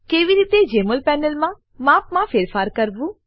કેવી રીતે જમોલ પેનલનાં માપમાં ફેરફાર કરવું